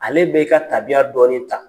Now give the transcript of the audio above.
Ale bɛ i ka tabiya dɔɔnin ta.